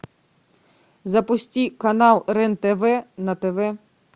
запусти канал рен тв на тв